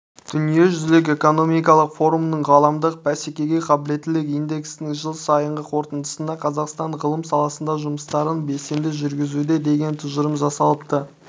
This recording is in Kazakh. дүниежүзілік экономикалық форумның ғаламдық бәсекеге қабілеттілік индексінің жыл сайынғы қорытындысында қазақстан ғылым саласында жұмыстарын белсенді жүргізуде деген тұжырым жасалыпты